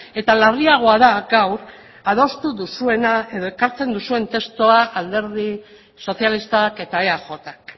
eta larriagoa da gaur adostu duzuena edo ekartzen duzuen testua alderdi sozialistak eta eajk